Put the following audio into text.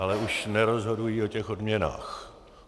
Ale už nerozhodují o těch odměnách.